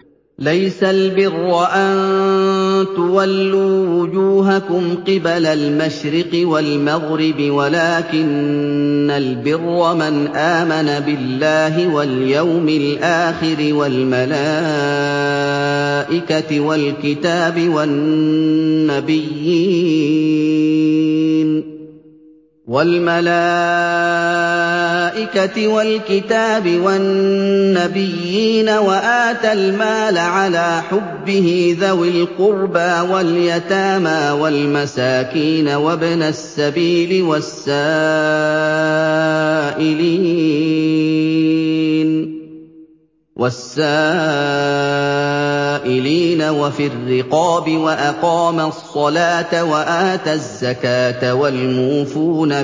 ۞ لَّيْسَ الْبِرَّ أَن تُوَلُّوا وُجُوهَكُمْ قِبَلَ الْمَشْرِقِ وَالْمَغْرِبِ وَلَٰكِنَّ الْبِرَّ مَنْ آمَنَ بِاللَّهِ وَالْيَوْمِ الْآخِرِ وَالْمَلَائِكَةِ وَالْكِتَابِ وَالنَّبِيِّينَ وَآتَى الْمَالَ عَلَىٰ حُبِّهِ ذَوِي الْقُرْبَىٰ وَالْيَتَامَىٰ وَالْمَسَاكِينَ وَابْنَ السَّبِيلِ وَالسَّائِلِينَ وَفِي الرِّقَابِ وَأَقَامَ الصَّلَاةَ وَآتَى الزَّكَاةَ وَالْمُوفُونَ